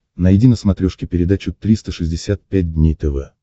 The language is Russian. найди на смотрешке передачу триста шестьдесят пять дней тв